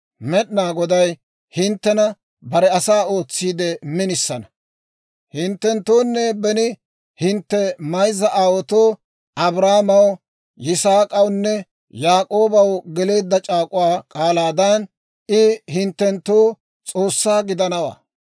Med'inaa Goday hinttena bare asaa ootsiide minisana; hinttenttoonne beni hintte mayzza aawaatoo, Abrahaamaw, Yisaak'awunne Yaak'oobaw geleedda c'aak'uwaa k'aalaadan, I hinttenttoo S'oossaa gidanawaa.